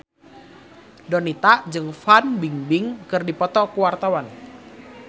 Donita jeung Fan Bingbing keur dipoto ku wartawan